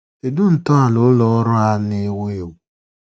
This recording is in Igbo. Kedụ ntọala Ụlọ ọrụ a na-ewu ewu.?